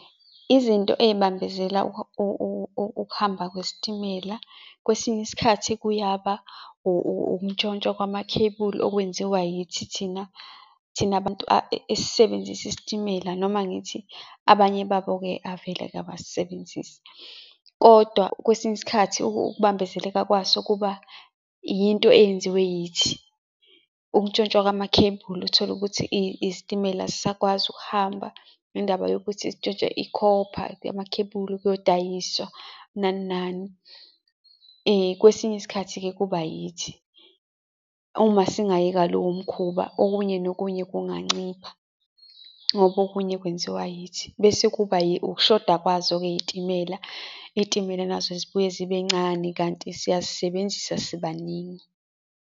Izinto ey'bambezela ukuhamba kwesitimela, kwesinye isikhathi kuyaba ukuntshontshwa kwamakhebuli okwenziwa yithi thina, thina abantu esisebenzisa isitimela, noma ngithi abanye babo-ke avele-ke abasisebenzisi. Kodwa kwesinye isikhathi ukubambezeleka kwaso kuba yinto eyenziwe yithi. Ukuntshontshwa kwamakhebuli uthole ukuthi isitimela asisakwazi ukuhamba ngendaba yokuthi sintshontshe ikhopha, amakhebuli ukuyodayiswa, nani, nani. Kwesinye isikhathi-ke kuba yithi. Uma singayeka lowo mkhuba okunye nokunye kunganciphisa, ngoba okunye kwenziwa yithi. Bese kuba ukushoda kwazo-ke iy'timela, iy'timela nazo zibuye zibe ncane kanti siyayisebenzisa sibaningi.